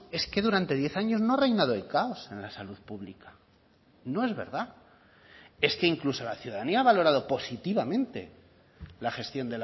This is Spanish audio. es que durante diez años no ha reinado el caos en la salud pública no es verdad es que incluso la ciudadanía ha valorado positivamente la gestión